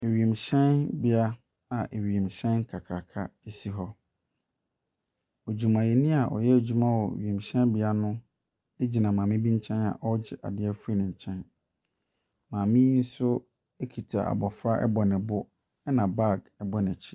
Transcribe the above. Wiemhyɛnbea awiemhyɛn kakraka si hɔ. Adwumayɛni a ɔyɛ ɛdwuma wɔ wiemhyɛnbea no gyina maame bi nkyɛn a ɔregye adeɛ afiri ne nkyɛn. maame yi nso kita abɔfra bɔ ne bo na baage bɔ n’akyi.